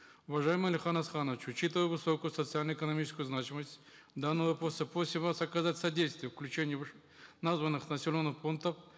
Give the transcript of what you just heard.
уважаемый алихан асханович учитывая высокую социально экономическую значимость данного вопроса просим вас оказать содействие включения названных населенных пунктов